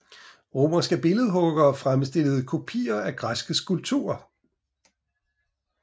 Romerske billedhuggere fremstillede kopier af græske skulpturer